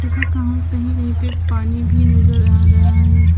तथा कहीं कहीं पे पानी भी नजर आ रहा है।